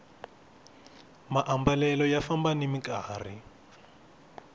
maambalelo ya famba nimi nkarhi